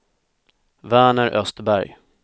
Verner Östberg